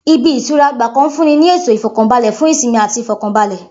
Ibi -ìtura ọgbà kan ń fúnni ni ètò Ìfọ̀kànbalẹ̀ fun ìsinmi ati Ìfọ̀kànbalẹ̀.